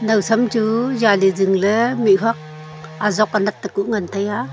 nawsam chu zali zingley mihuak azok anat ta ku ngantaiya.